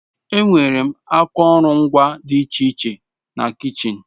Enwere akụrụngwa dị iche iche na kichin.